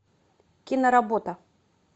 киноработа